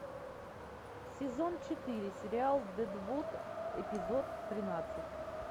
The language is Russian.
сезон четыре сериал дедвуд эпизод тринадцать